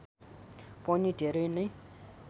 पनि धेरै नै